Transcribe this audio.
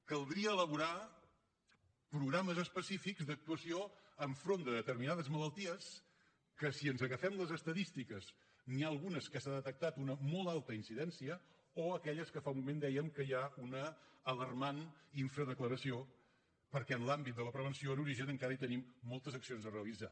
caldria elaborar programes específics d’actuació enfront de determinades malalties que si ens agafem les estadístiques n’hi ha algunes que s’ha detectat una molt alta incidència o aquelles de què fa un moment dèiem que hi ha una alarmant infradeclaració perquè en l’àmbit de la prevenció en origen encara hi tenim moltes accions a realitzar